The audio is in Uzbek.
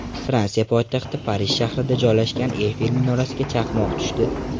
Fransiya poytaxti Parij shahrida joylashgan Eyfel minorasiga chaqmoq tushdi.